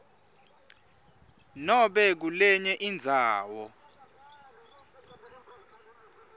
nobe kulenye indzawo